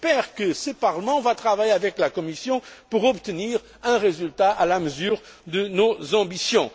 J'espère que ce Parlement va travailler avec la Commission pour obtenir un résultat à la mesure de nos ambitions.